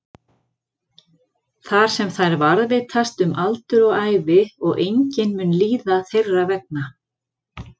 Þar sem þær varðveitast um aldur og ævi og enginn mun líða þeirra vegna.